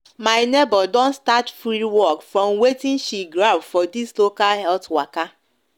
my neighbor don start free work from watin she grab for this local health waka